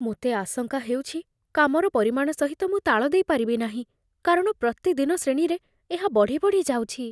ମୋତେ ଆଶଙ୍କା ହେଉଛି, କାମର ପରିମାଣ ସହିତ ମୁଁ ତାଳଦେଇପାରିବି ନାହିଁ, କାରଣ ପ୍ରତିଦିନ ଶ୍ରେଣୀରେ ଏହା ବଢ଼ି ବଢ଼ି ଯାଉଛି।